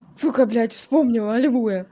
сука блядь вспомнила алилуя